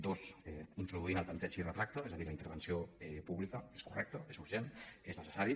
dos in troduint el tanteig i retracte és a dir la intervenció pública és correcte és urgent és necessari